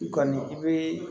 I kɔni i bi